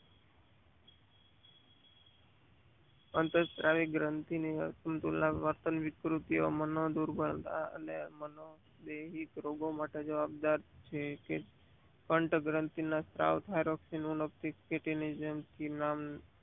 અન્ત્સ્ત્રાવી ગ્રંથિને તુલના વર્તન વિકૃતિઓ માનો દર્દી લોકો મટવા જવાબદાર છે. કે અંઠગનથી સાવધ નો ને લગતી